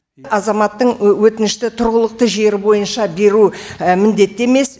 азаматтың өтінішті тұрғылықты жері бойынша беру міндетті емес